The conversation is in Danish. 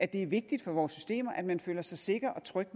det vigtigt for vores systemer at man føler sig sikker og tryg